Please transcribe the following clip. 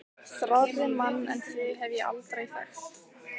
Þrárri mann en þig hef ég aldrei þekkt!